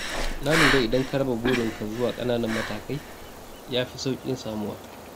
Na lura idan ka raba burin ka zuwa ƙananan matakai ya fi sauƙin samuwa